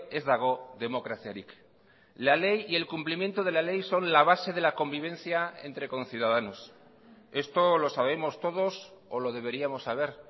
ez dago demokraziarik la ley y el cumplimiento de la ley son la base de la convivencia entre conciudadanos esto lo sabemos todos o lo deberíamos saber